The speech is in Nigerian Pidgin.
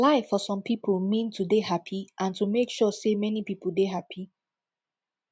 life for some pipo mean to dey happy and to make sure sey many pipo dey happy